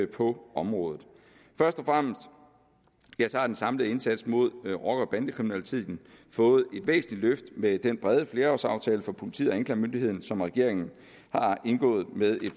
på området først og fremmest har den samlede indsats mod rocker bande kriminaliteten fået et væsentligt løft med den brede flerårsaftale for politiet og anklagemyndigheden som regeringen har indgået med et